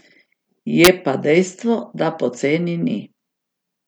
Je pa dejstvo, da poceni ni.